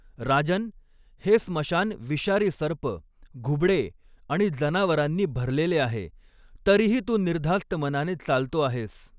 राजन, हे स्मशान विषारी सर्प, घुबडें आणि जनावरांनी भरलेले आहे, तरीही तू निर्धास्त मनाने चालतो आहेस.